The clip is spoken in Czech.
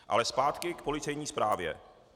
Ale zpátky k policejní zprávě.